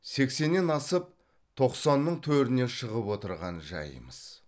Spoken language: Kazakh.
сексеннен асып тоқсанның төріне шығып отырған жайымыз